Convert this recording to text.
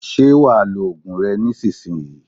Ṣé wa lo ògùn rẹ nísinsìnyí